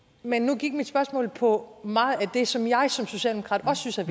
men nu gik mit spørgsmål på meget af det som jeg som socialdemokrat også synes er